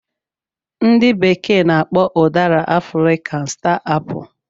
Ndị bekee na-akpọ udara 'African star apple '